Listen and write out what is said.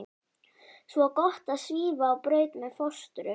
Svo gott að svífa á braut með fóstru.